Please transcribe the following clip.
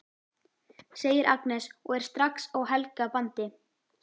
segir Agnes og er strax á Helga bandi.